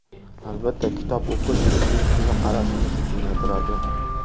Albatta, kitob o‘qish bizning dunyoqarashimizni kengaytiradi.